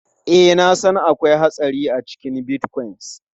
Ee, na san akwai hatsari a cikin Bitcoin.